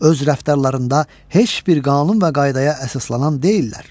Öz rəftarlarında heç bir qanun və qaydaya əsaslanan deyillər.